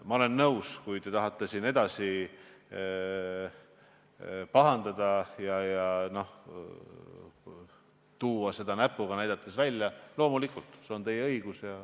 Ma olen nõus, et kui te tahate siin edasi pahandada ja sellele näpuga näidata, siis loomulikult on teil see õigus.